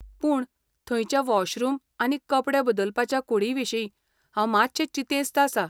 पूण, थंयच्या वॉशरूम आनी कपडे बदलपाच्या कूडींविशीं हांव मातशें चिंतेस्त आसां.